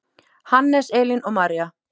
Hannes, Elín og María.